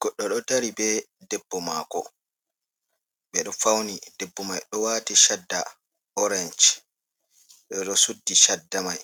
Goddo ɗo dari bee debbo maako ɓe ɗo fawni. Debbo mai ɗo waati shadda orenj boo ɗo suddi shadda mai,